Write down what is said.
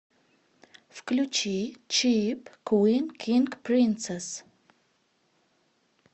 включи чип квин кинг принцесс